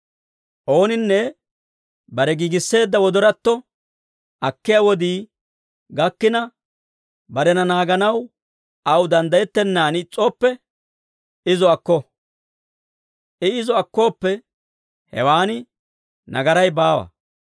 Ooninne bare giigisseedda wodoratto akkiyaa wodii gakkina, barena naaganaw aw danddayettennaan is's'ooppe, izo akko. I izo akkooppe, hewaan nagaray baawa.